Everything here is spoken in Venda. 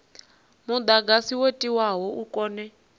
mudagasi wo tiwaho u kone